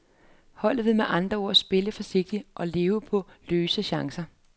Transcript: Holdet vil med andre ord spille forsigtigt og leve på løse chancer.